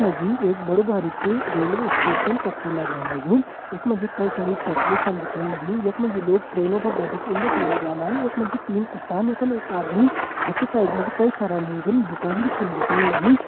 यख मा जी एक बड़ु बारिकु रेलवे स्टेशन कर छ लगण लग्युं यख मा जी कई सारी पोटरी छन दिखेण लगीं यख मा जी लोग ट्रेनों पर बैठिक उंडे फुंडे जान्दन यख मा जी तीन कुत्तान यखम एक आदमी हैकि साइड मा जी कई सारा लोगन दुकान भी छन दिखेण लगीं।